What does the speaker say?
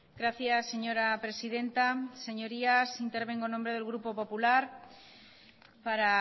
gracias señora presidenta señorías intervengo en nombre del grupo popular para